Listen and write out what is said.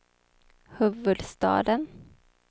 huvudstaden